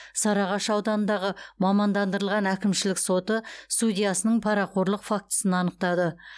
сарыағаш ауданындағы мамандандырылған әкімшілік соты судьясының парақорлық фактісін анықтады